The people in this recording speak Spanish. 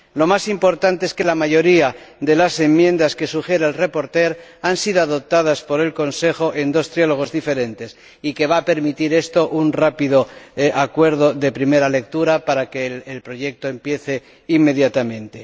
Lo más importante es que la mayoría de las enmiendas que sugiere el ponente han sido adoptadas por el Consejo en dos trílogos diferentes, y que esto va a permitir un rápido acuerdo en primera lectura para que el proyecto empiece inmediatamente.